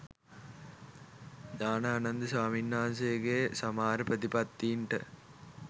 ඥානානන්ද ස්වාමින්වහන්සේගේ සමහර ප්‍රතිපත්තීන්ට